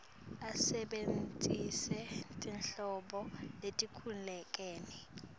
asebentise tinhlobo letehlukene